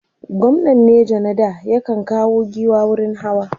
gwamnan neja na da ya kan kawo giwa wurin hawa